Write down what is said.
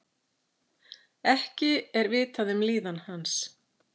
Ekki er vitað um líðan hans